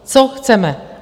Co chceme?